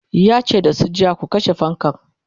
yace da su jiya"ku kashe fankan!'